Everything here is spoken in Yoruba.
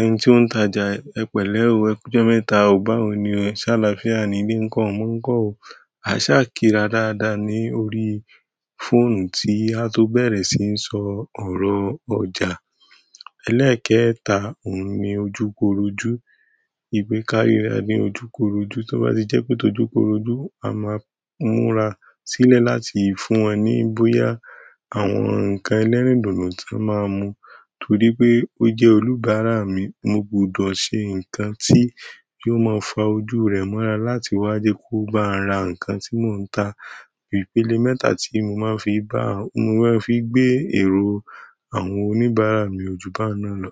ẹni tí ó ń tajà ẹ pẹ̀lẹ́, ẹkú jọ́ mẹ́ta ò báwo ni, ṣàlàáfíà ni ilé nko omọ́ nko. A sáà kíra dáadáa ní orí fóònù tí a tó bẹ̀rẹ̀ sí ń sọ ọ̀rọ̀ ọjà. Eléèkéẹ́ta, òun ni ojúkorojú. Wípé karira ni ojú koroju, to ba tije pe tọ́jú koroju a maa múra sile láti fún e ni boya àwọn nkan ẹlẹ́rìndòdò ti won maa n mu torí pé ó jẹ́ oníbàárà mi, mo gbọdọ̀ ṣe nǹkan tí yóò máa fa ojú rẹ̀ mọ́ra láti wá jẹ́ kó bá ra nǹkan tí mò ń ta. Ìpele mẹ́ta tí mo máa ń fi bá, mo máa ń fi gbé èrò àwọn onibara mi o ju baun náà lo.